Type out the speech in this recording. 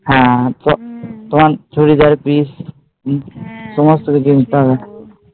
হ্যাঁ, তোমার চুরিদারের piece